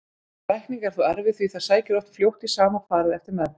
Lækning er þó erfið því það sækir oft fljótt í sama farið eftir meðferð.